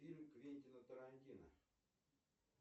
фильм квентина тарантино